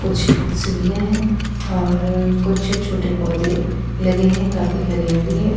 कुछ सीढ़ियां हैं और कुछ छोटे पौधे लगे हैं काफी हरियाली हैं।